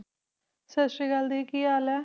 ਸਤਿ ਸ਼੍ਰੀ ਅਕਾਲ ਕੀ ਹਾਲ ਹੈ?